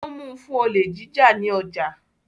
Wọ́n mu fún olè jíjà ní ọjà